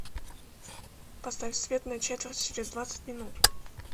поставь свет на четверть через двадцать минут